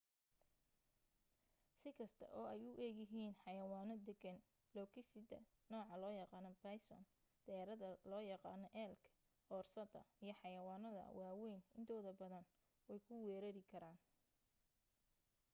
si kasta oo ay u egyihiin xayawaano deggan lo'gisida nooca loo yaqaano bison deerada loo yaqaano elk oorsada iyo xayawaanadda waa wayn intooda badan wey ku weeraari karaan